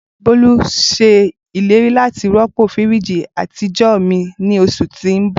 Bolu ṣe ileri lati rọpo firiji atijọ mi ni oṣu ti n bọ.